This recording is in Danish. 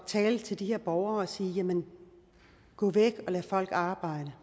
tale til de her borgere og sige gå væk og lad folk arbejde